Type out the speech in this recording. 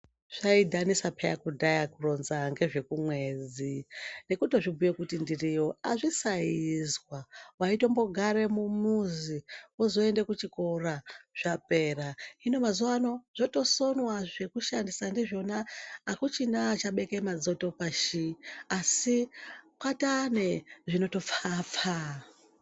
Zvaidhanisa peya kudhaya kuronza ngezvekumwedzi nekutozviBhuye kuti ndiriyo azvisaiizwa waimbotigare mumuzi wozoende kuchikora zvapera hino mazuwa ano zvotosonwa zvekushandisa ndizvona akuchina achabeke madzoto pashi kwataane zvino pfa pfa .